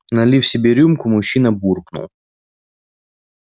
налив себе рюмку мужчина буркнул